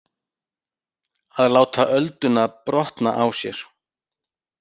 Að láta ölduna brotna á sér